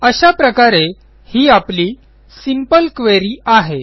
अशा प्रकारे ही आपली सिंपल क्वेरी आहे